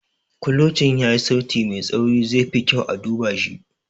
Kulocin yayi sauti mai tsauri - zai fi kyau a duba shi.